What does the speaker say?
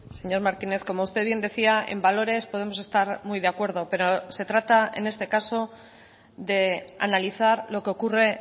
señor martínez como usted bien decía en valores podemos estar muy de acuerdo pero se trata en este caso de analizar lo que ocurre